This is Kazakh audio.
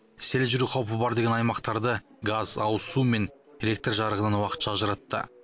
сел жүру қаупі бар деген аймақтарды газ ауызсу мен электр жарығынан уақытша ажыратты